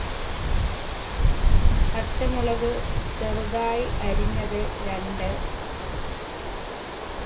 പച്ച മുളക് ചെറുതായി അരിഞ്ഞത് രണ്ട്